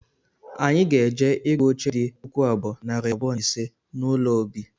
Anyị ga-eje ịgụ oche di puku abụọ, nari abụọ na ise n’ụlọ obi